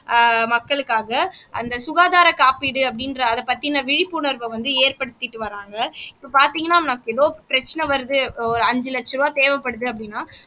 அஹ் மக்களுக்காக அந்த சுகாதாரம் காப்பீடு அப்படின்ற அதைப் பத்தின விழிப்புணர்வை வந்து ஏற்படுத்திட்டு வர்றாங்க இப்போ பார்த்தீங்கன்னா நமக்கு ஏதோ பிரச்சனை வருது ஒரு அஞ்சு லட்ச ரூபாய் தேவைப்படுது அப்படின்னா